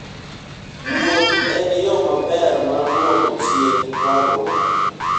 Wuoth en yo maber mar duoko chien parruok.